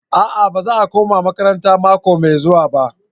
A'a baza a koma makarantan mako mai zuwa ba.